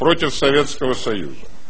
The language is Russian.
против советского союза